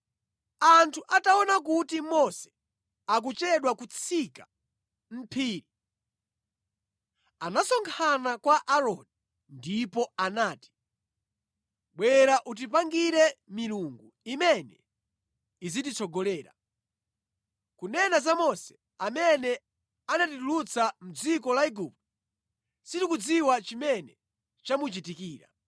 Anthu ataona kuti Mose akuchedwa kutsika mʼphiri, anasonkhana kwa Aaroni ndipo anati, “Bwera utipangire milungu imene idzititsogolera. Kunena za Mose amene anatitulutsa mʼdziko la Igupto, sitikudziwa chimene chamuchitikira.”